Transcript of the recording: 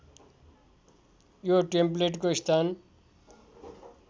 यो टेम्प्लेटको स्थान